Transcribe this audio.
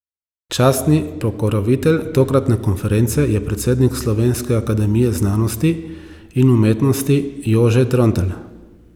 Častni pokrovitelj tokratne konference je predsednik Slovenske akademije znanosti in umetnosti Jože Trontelj.